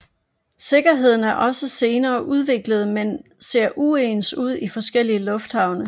Sikkerheden er også senere udviklet men ser uens ud i forskellige lufthavne